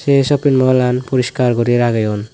ei shopping mawlan porishkar guri rageyon.